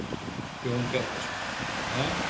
Jón Bjarnason: Ha?